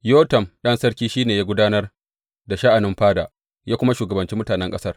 Yotam ɗan sarki, shi ne ya gudanar da sha’anin fada, ya kuma shugabanci mutanen ƙasar.